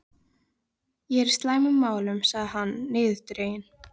Ég er í slæmum málum sagði hann niðurdreginn.